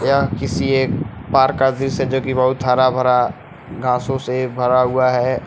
यह किसी एक पार्क का दृश्य जो कि बहुत हरा भरा घासें से भरा हुआ है।